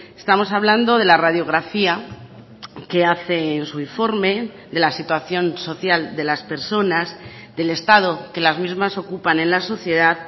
estamos hablando de la radiografía que hace en su informe de la situación social de las personas del estado que las mismas ocupan en la sociedad